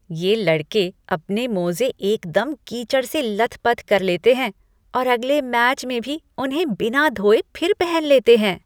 ये लड़के अपने मोजे एकदम कीचड़ से लथपथ कर लेते हैं औरअगले मैच में भी उन्हें बिना धोए फिर पहन लेते हैं।